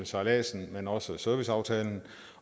sejladsen men også serviceaftalen